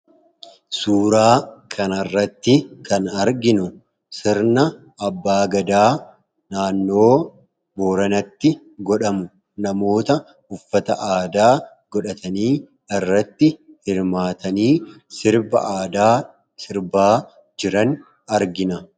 Suuraa kana irratti kan arginu sirna abba gadaa naannoo booranatti godhamu namoota uffata aadaa godhatanii irratti hirmaatanii sirba aadaa sirbaa jiran argina.